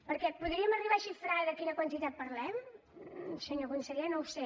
perquè podríem arribar a xifrar de quina quantitat parlem senyor conseller no ho sé